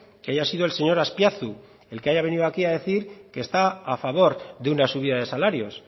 que haya sido el señor azpiazu el que haya venido aquí a decir que está a favor de una subida de salarios